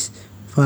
macaanka